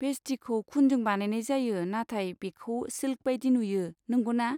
भेस्टिखौ खुनजों बानायनाय जायो नाथाय बेखौ सिल्क बायदि नुयो, नंगौना?